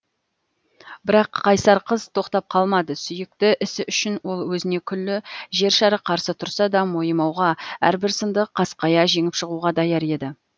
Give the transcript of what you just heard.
бірақ қайсар қыз тоқтап қалмады сүйікті ісі үшін ол өзіне күллі жер шары қарсы тұрса да мойымауға әрбір сынды қасқая жеңіп шығуға даяр еді